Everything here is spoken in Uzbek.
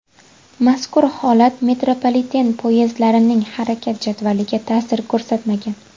Mazkur holat metropoliten poyezdlarining harakat jadvaliga tasir ko‘rsatmagan.